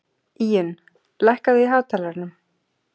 Íunn, lækkaðu í hátalaranum.